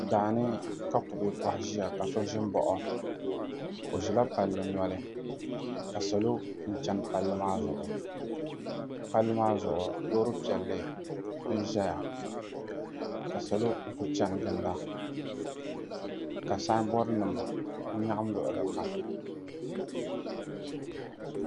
Daani ka kubɛ koha ʒiya ka so ʒi n baɣa o o ʒila palli noli ka salo chɛni palli maa zuɣu palli maa zuɣu loori piɛlli n ʒɛya ka salo n kuli chɛni ginda ka sanbood nim n nyaɣam luɣuli kam